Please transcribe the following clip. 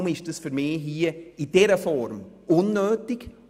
Darum ist das für mich hier in dieser Form unnötig.